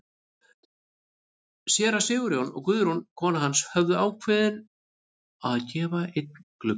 Séra Sigurjón og Guðrún kona hans höfðu ákveðið að gefa einn gluggann.